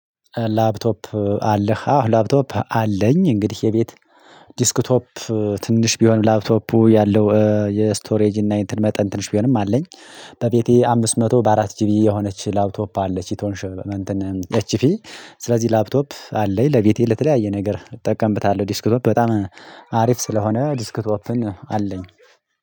ላፕቶፕ አለህ? አዎ፣ ላፕቶፕ አለኝ እንግዲህ የቤት ዲስክ ቶፕ ትንሽ ቢሆንም፣ ላፕቶፑ ያለው የስቶሬጅ እና የመጠን ትንሽ ቢሆንም አለኝ። በቤቴ አምስት መቶ በአራት ጂቢ የሆነች ላፕቶፕ አለች የትሆንሽ በእንትን ኤችፒ ስለዚህ ላፕቶፕ አለኝ ለቤቴ ለተለያየ ነገር እጠቀምብታለሁ ዲስክቶፕ በጣም አሪፍ ስለሆነ ዲስክቶፕን አለኝ